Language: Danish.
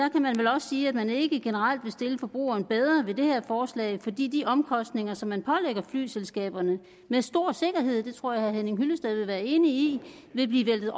også sige at man ikke generelt vil stille forbrugeren bedre ved det her forslag fordi de omkostninger som man pålægger flyselskaberne med stor sikkerhed det tror jeg herre henning hyllested vil være enig i vil blive væltet